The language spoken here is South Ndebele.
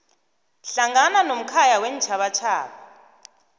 hlangana nomkhaya weentjhabatjhaba